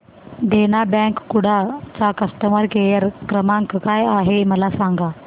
देना bank Kudal चा customer care क्रमांक काय आहे मला सांगा